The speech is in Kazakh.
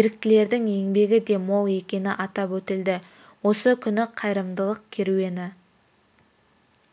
еріктілердің еңбегі де мол екені атап өтілді осы күні қайырымдылық керуені